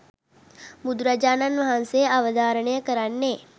බුදුරජාණන් වහන්සේ අවධාරණය කරන්නේ